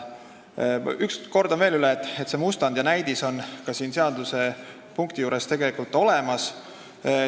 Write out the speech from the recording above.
Kordan veel, et mustand või näidis on selle punkti juures tegelikult olemas.